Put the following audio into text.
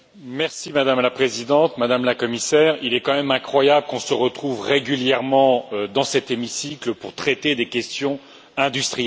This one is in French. Madame la Présidente, Madame la Commissaire, il est quand même incroyable qu'on se retrouve régulièrement dans cet hémicycle pour traiter de questions industrielles.